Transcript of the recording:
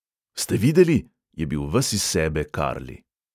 "Ste videli?" je bil ves iz sebe karli.